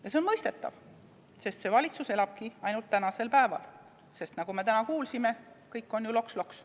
Ja see on mõistetav, sest see valitsus elabki ainult tänases päevas, sest nagu me täna kuulsime, kõik on ju loks-loks.